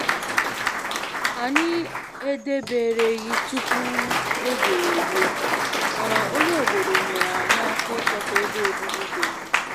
Anyị edebereghị tupu oge eruo, mana onye obodo nyere anyị aka ịchọta ebe obibi dị mma.